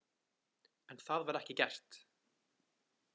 En það var ekki gert.